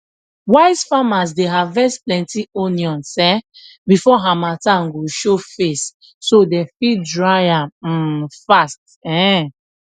wise farmers dey harvest plenty onions um before harmattan go show face so dem fit dry am um fast um